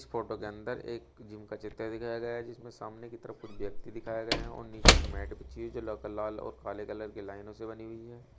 Photo के अंदर एक जिम का चित्र दिखाया गया जिसमें सामने की तरफ कुछ व्यक्ति दिखाया गए हैं और नीचे एक मैट बिछी हुई जो लक लाल और काले कलर के लाइनो से बनी हुई है।